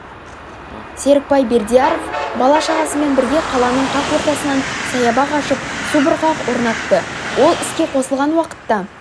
серікбай бердияров бала-шағасымен бірге қаланың қақ ортасынан саябақ ашып субұрқақ орнатты ол іске қосылған уақытта